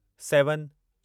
seven